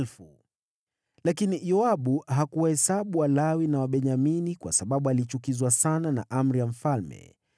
Lakini Yoabu hakuwahesabu Walawi na Wabenyamini, kwa sababu alichukizwa sana na amri ya mfalme.